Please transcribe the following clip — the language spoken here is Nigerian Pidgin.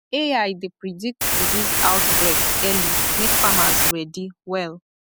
ai dey predict disease outbreak early make farmers ready well